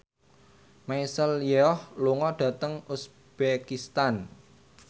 Michelle Yeoh lunga dhateng uzbekistan